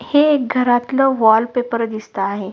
हे एक घरातलं वॉल पेपर दिसतं आहे.